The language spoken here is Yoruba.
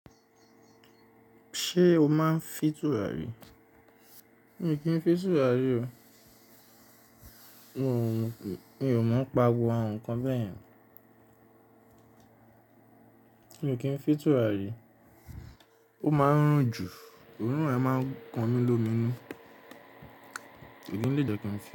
Ṣé o máa ń fì tura rí? Mi kì n fì tura rí o. Mi ò mọ̀ n pa gbogbo àwọn nǹkan bẹ́yẹ̀n. Ò kí ń fì tura rí. Ó máa ń rùn jù. Orun ẹ máa ń kan mi lómi nu. Kì í lè jẹ́ kí n fì.